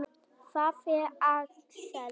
Hvar er Axel?